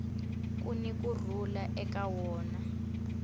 kuni ku rhula eka wona